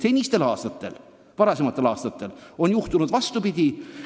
Varasematel aastatel on paraku juhtunud vastupidi.